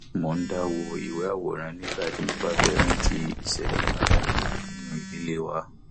mo ń dá wo ìwé àwòrán nígbà tí mo bá bá fẹ rántí ìṣẹlẹ pàtàkì nínú ìdílé wa